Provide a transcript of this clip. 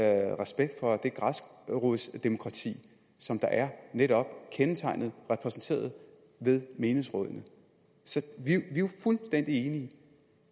respekt for det græsrodsdemokrati som netop kendetegner menighedsrådene så vi er jo fuldstændig enige